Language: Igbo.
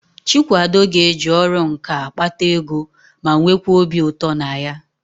Chikwado ga-eji ọrụ nkà akpata ego ma nweekwa obi ụtọ na ya.